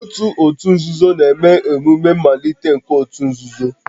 Otu òtù nzuzo na-eme emume mmalite nke òtù nzuzo